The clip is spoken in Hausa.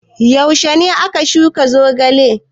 Yaushe ne aka shuka zogale?